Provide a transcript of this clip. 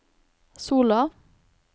Sola